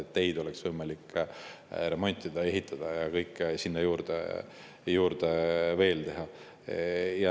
Et teid oleks võimalik remontida ja ehitada ja kõike sinna juurde veel teha.